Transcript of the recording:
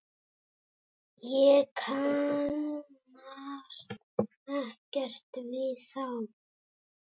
Ég kannast ekkert við þá.